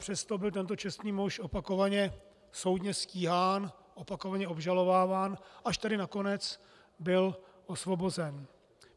Přesto byl tento čestný muž opakovaně soudně stíhán, opakovaně obžalováván, až tedy nakonec byl osvobozen.